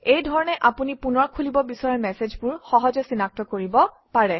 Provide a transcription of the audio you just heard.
এই ধৰণে আপুনি পুনৰ খুলিব বিচৰা মেচেজবোৰ সহজে চিনাক্ত কৰিব পাৰে